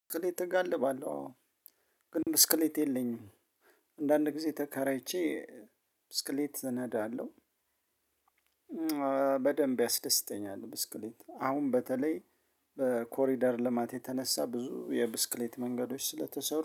ብስክሌት እጋልባለሁ አዎ ግን ብስክሌት የለኝም አንዳንድ ጊዜ ተከራይቼ ብስክሌት እነዳለሁ። በደንብ ያስደስተኛል። ብስክሌት አሁን በተለይ በኮሪደር ልማት የተነሳ ብዙ የብስክሌት መንገዶች ስለተሰሩ።